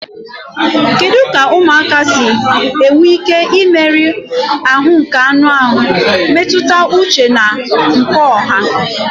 Kedu ka ụmụaka si enwe ike imerụ ahụ nke anụ ahụ, mmetụta uche na nke ọha?